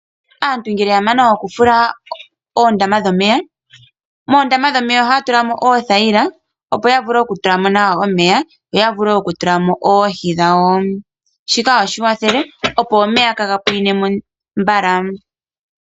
Aantu ngele ya mana okufula oondama dhomeya, moondama dhomeya ohaya tulamo oothayila opo ya vule oku tulamo omeya yo ya vule wo oku tula mo oohi dhawo. Shika ohashi kwathele opo omeya kaa ga pwine mo mbala.